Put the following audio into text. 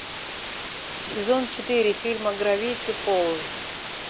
сезон четыре фильма гравити фолз